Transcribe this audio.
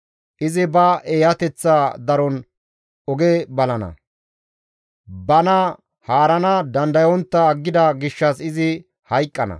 Izi ba eeyateththa daron oge balana; bana haarana dandayontta aggida gishshas izi hayqqana.